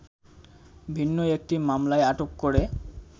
ভিন্ন একটি মামলায় আটক করে